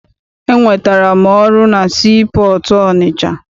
Enwetara m ọrụ na sii pọọtụ Ọnịcha.